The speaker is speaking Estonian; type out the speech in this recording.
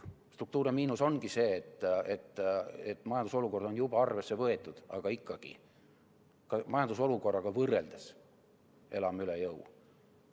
Struktuurne miinus ongi see, et majanduse olukord on juba arvesse võetud, aga ikkagi ka majanduse olukorraga võrreldes me elame üle jõu.